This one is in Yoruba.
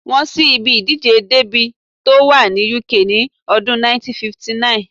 Wọ́n ṣí ibi ìdíje dẹ́bì tó wà ní UK ní ọdún 1959